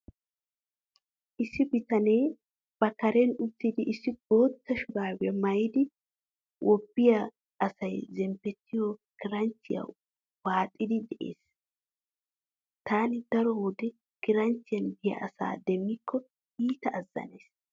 Issi bitanee ba kareen uttidi issi bootta shuraabiya maayidi wobbiya asay zemppettiyo kiranchchiya waaxiiddi de'es. Taani doro wode kiranchchiyan biya asa demmikko iita azzanays.